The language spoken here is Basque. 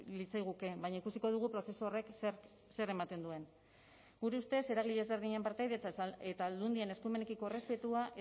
litzaiguke baina ikusiko dugu prozesu horrek zer ematen duen gure ustez eragile ezberdinen partaidetza eta aldundien eskumenekiko errespetua